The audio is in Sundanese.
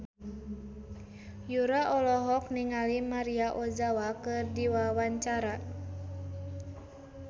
Yura olohok ningali Maria Ozawa keur diwawancara